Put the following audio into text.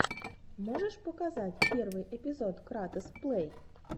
можешь показать первый эпизод кратос плэй